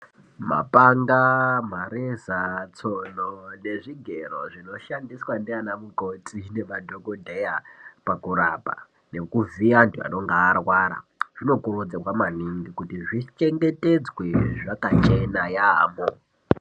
Mapanga mareza tsono ngezvigero zvinoshandiswa nanamukoti nemadhokodheya pakurapa ngekuvhiya antu anonga arwara zvinokurudzirwa maningi kuti zvichengetedzwe zvakachena yaamho.